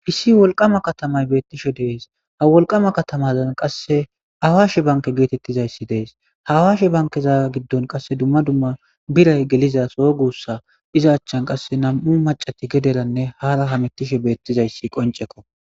lssi wolqama katamay beettishe dees ha wolqama katamazan qasse hawaashe banke geetettizayssi dees hawaashe bankeza giddon qasse dumma dumma biray geliza so guussa iza achchan qasse nam'u macati gederanne haara hamettishe beettizayssi qoncekko.